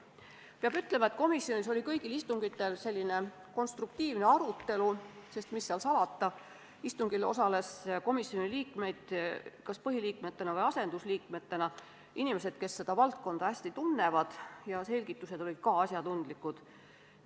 Peab ütlema, et kõigil komisjoni istungitel toimus konstruktiivne arutelu, sest – mis seal salata – istungil osales selliseid komisjoni liikmeid, kas põhiliikmetena või asendusliikmetena, kes seda valdkonda hästi tunnevad, ja nende selgitused olid asjatundlikud.